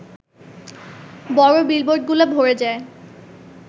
বড় বিলবোর্ডগুলো ভরে যায়